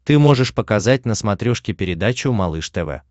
ты можешь показать на смотрешке передачу малыш тв